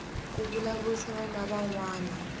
ku vulavurisana na van wana